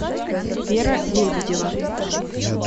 вера лебедева